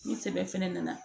Ni sɛbɛn fɛnɛ nana